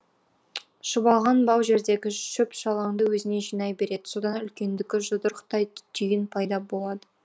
шұбалған бау жердегі шөп шалаңды өзіне жинай береді содан үлкендігі жұдырықтай түйін пайда болады